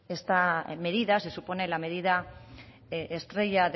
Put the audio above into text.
esta medida se supone la medida estrella